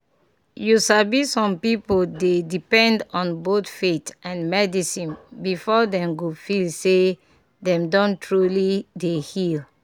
you sabi some people dey depend on both faith and medicine before dem go feel say dem don truly dey heal.